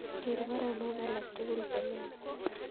Ger baronok alak tugul chelelach